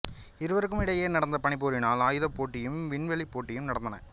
இருவருக்கும் இடையே நடந்த பனிப்போரினால் ஆயுதப் போட்டியும் விண்வெளிப் போட்டியும் நடந்தன